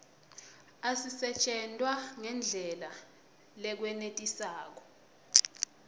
asisetjentwa ngendlela lekwenetisako